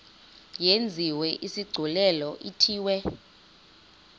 yenziwe isigculelo ithiwe